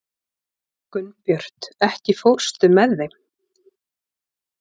Gunnbjört, ekki fórstu með þeim?